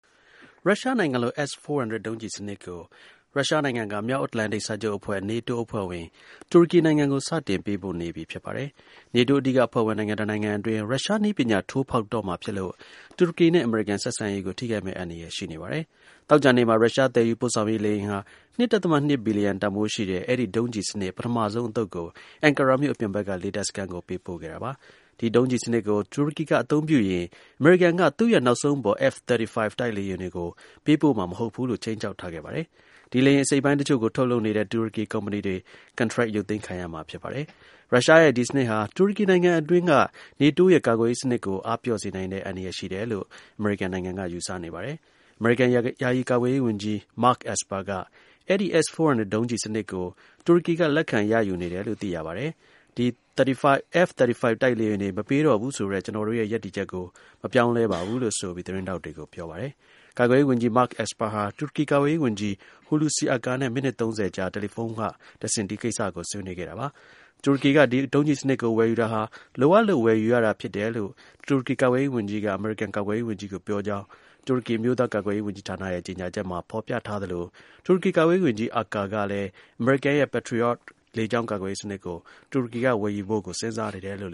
ရုရှားနိုင်ငံလုပ် S - 400 ဒုံးကျည်စနစ်ကို ရုရှားနိုင်ငံက မြောက်အတ္တလန်တိတ် စာချုပ်အဖွဲ့ NATO အဖွဲ့ဝင် တူရကီနိုင်ငံကို စတင် ပေးပို့နေပြီ ဖြစ်ပါတယ်။ NATO အဓိက အဖွဲ့ဝင်နိုင်ငံ တနိုင်ငံအတွင်း အတွင်း ရုရှား နည်းပညာ ထိုးဖောက်တော့မှာ ဖြစ်လို့ တူရကီနဲ့ အမေရိကန် ဆက်ဆံရေးကို ထိခိုက်မယ့် အန္တရာယ် ရှိနေပါတယ်။ သောကြာနေ့မှာ ရုရှား သယ်ယူ ပို့ဆောင်ရေး လေယာဉ်ဟာ ၂.၂ ဘီလျံ တန်ဖိုးရှိတဲ့ အဲဒီ ဒုံးကျည်စနစ် ပထမဆုံးအသုတ်ကို အင်ကာရာမြို့ အပြင်ဘက်က လေတပ် စခန်းကို ပေးပို့ ခဲ့တာပါ။ ဒီ ဒုံးကျည်စနစ်ကို တူရကီက အသုံးပြုရင် အမေရိကန်က သူ့ရဲ့ နောက်ဆုံးပေါ် F-35 တိုက်လေယာဉ်တွေကို ပေးပို့မှာ မဟုတ်ဘူးလို့ ခြိမ်းခြောက် ထားခဲ့ပါတယ်။ ဒီ လေယာဉ် အစိတ်အပိုင်း တစ်ချို့ကို ထုတ်လုပ်နေတဲ့ တူရကီ ကုမ္ပဏီတွေ ကန်ထရိုက် ရုပ်သိမ်းခံရမှာ ဖြစ်ပါတယ်။ ရုရှားရဲ့ ဒီ စနစ်ကဟာ တူရကီနိုင်ငံအတွင်းက NATO ရဲ့ ကာကွယ်ရေး စနစ်ကို အားပျော့စေနိုင်တဲ့ အန္တရာယ် ရှိတယ်လို့ အမေရိကန်နိုင်ငံက ယူဆနေပါတယ်။ အမေရိကန် ယာယီ ကာကွယ်ရေး ဝန်ကြီး Mark Esper က "အဲဒီ S - 400 ဒုံးကျည်စနစ် ကို တူရကီက လက်ခံ ရယူနေတယ်လို့ သိရပါတယ်။ F-35 တိုက်လေယာဉ်တွေ မပေးတော့ဘူးဆိုတဲ့ ကျနော်တို့ရဲ့ ရပ်တည်ချက်က မပြောင်းလဲပါဘူး။" လို့ ဆိုပြီး သတင်းထောက်တွေကို ပြောပါတယ်။ ကာကွယ်ရေး ဝန်ကြီး Mark Esper ဟာ တူရကီ ကာကွယ်ရေး ဝန်ကြီး Hulusi Akar နဲ့ မိနစ် ၃၀ ကြာ တယ်လီဖုန်းက တစ်ဆင့် ဒီကိစ္စကို ဆွေးနွေးခဲ့ပါတယ်။ တူရကီက ဒီ ဒုံးကျည်စနစ်ကို ဝယ်ယူတာဟာ လိုအပ်လို့ ဝယ်ယူရတာ ဖြစ်တယ်လို့ တူရကီ ကာကွယ်ရေး ဝန်ကြီးက အမေရိကန် ကာကွယ်ရေး ဝန်ကြီးကို ပြောကြောင်း တူရကီ အမျိုးသား ကာကွယ်ရေး ဝန်ကြီးဌာနရဲ့ ကြေညာချက်မှာ ဖော်ပြထားသလို တူရကီ ကာကွယ်ရေး ဝန်ကြီး Akar ကလည်း အမေရိကန်ရဲ့ Patriot လေကြောင်း ကာကွယ်ရေး စနစ်ကို ဝယ်ယူဖို့ကိုလည်း တူရကီအနေနဲ့ စဉ်းစားနေဆဲလို့